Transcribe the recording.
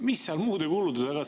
Mis seal muude kulude taga on?